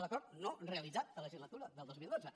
l’acord no realitzat de legislatura del dos mil dotze